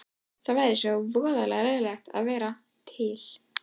Það væri svo voðalega leiðinlegt að vera til.